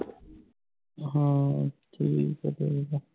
ਹਾਂ ਠੀਕ ਆ ਠੀਕ ਆ